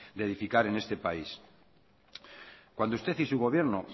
de edificar en este país cuando usted y su gobierno